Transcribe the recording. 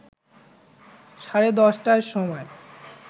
সাড়ে ১০টার সময়